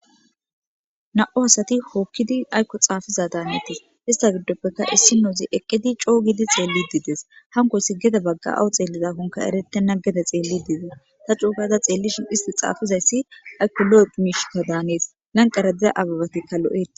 na7u asati hookkidi aykko xaafiza daanetis ista giddoppeka issinoozi eqqidi coogidi xeellidii des hanko si gede bagga7aw xeelliza honka eretenna gede xeelli diidees ta coogada xeellishin isti xaafizayssi aykko lo7eq miishikka daanees lanqaradiza ababatikkallo7e